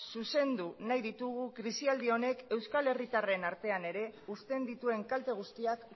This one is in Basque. zuzendu nahi ditugu krisialdi honek euskal herritarren artean ere uzten dituen kalte guztiak